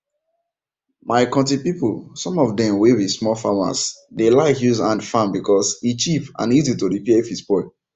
my konti people some of dem were be small farmers dey like use hand farm because e cheap and easy to repair if e spoil